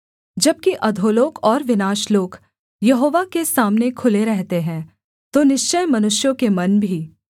जबकि अधोलोक और विनाशलोक यहोवा के सामने खुले रहते हैं तो निश्चय मनुष्यों के मन भी